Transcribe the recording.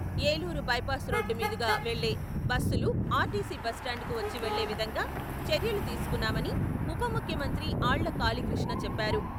Eluru bypass road మీదుగా వెళ్ళే bus లు ఆర్టీసీ బస్టాండ్ కు వచ్చి వెళ్ళే విధంగా చర్యలు తీసుకున్నామని ఉప ముఖ్యమంత్రి ఆళ్ళ కాళీ కృష్ణ చెప్పారు.